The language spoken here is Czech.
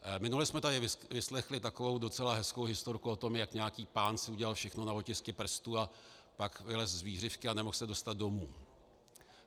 Minule jsme tady vyslechli takovou docela hezkou historku o tom, jak nějaký pán si udělal všechno na otisky prstů a pak vylezl z vířivky a nemohl se dostat domů.